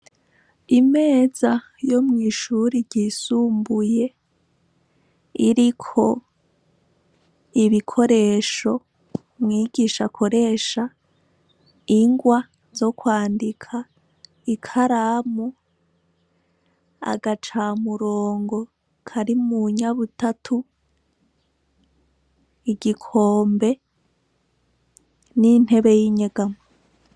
Imeza yo mw'ishuri ryisumbuye iriko ibikoresho mwigisha akoresha ingwa zo kwandika ikaramu agaca murongo kari mu nyabutatu igikombe n'intebe y'inyegamo